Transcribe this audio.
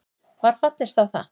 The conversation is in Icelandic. Var fallist á það